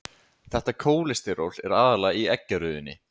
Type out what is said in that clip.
Þetta kólesteról er aðallega í eggjarauðunni.